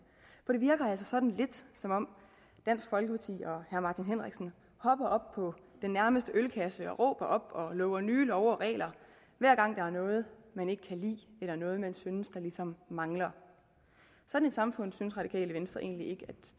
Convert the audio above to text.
virker altså sådan lidt som om dansk folkeparti og herre martin henriksen hopper op på den nærmeste ølkasse og råber op og lover nye love og regler hver gang der er noget man ikke kan lide eller noget man synes ligesom mangler sådan et samfund synes radikale venstre egentlig ikke